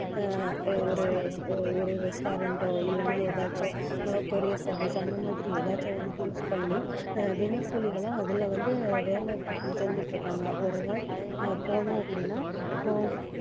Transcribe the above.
ஆஹ் ஒரு ஒரு restaurant ஓ இல்லைன்னா ஏதாச்சும் ஆஹ் courier service அந்த மாதிரி ஏதாச்சும் ஒண்ணு choose பண்ணி ஆஹ் தினக்கூலிகளும் அதுல வந்து வேலை செஞ்சுட்டு இருக்காங்க. ஒரு நாள் ஆஹ் போனோம் அப்படின்னா இப்போ